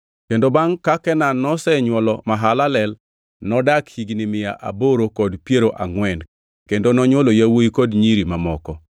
Kendo bangʼ ka Kenan noseyuolo Mahalalel nodak higni mia aboro kod piero angʼwen kendo nonywolo yawuowi kod nyiri mamoko.